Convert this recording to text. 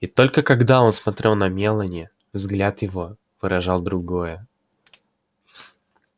и только когда он смотрел на мелани взгляд его поражал другое